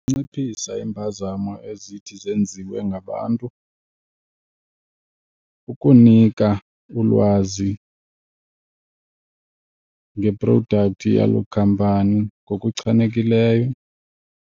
Inciphisa iimpazamo ezithi zenziwe ngabantu ukunika ulwazi ngeprodakhthi yaloo khampani ngokuchanekileyo.